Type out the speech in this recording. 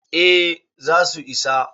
eh za su isa